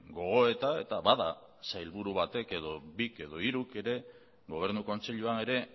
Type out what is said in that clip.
gogoeta eta bada sailburu batek bik edo hiruk ere gobernu kontseiluan ere